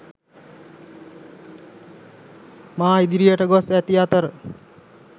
මා ඉදිරියට ගොස් ඇති අතර